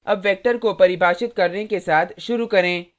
अब वेक्टर को परिभाषित करने के साथ शुरू करें